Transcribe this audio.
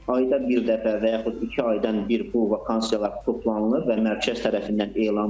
Ayda bir dəfə və yaxud iki aydan bir bu vakansiyalar toplanılır və mərkəz tərəfindən elan olunur.